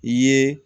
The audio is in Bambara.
I ye